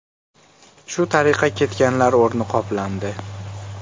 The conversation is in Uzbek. Shu tariqa ketganlar o‘rni qoplandi.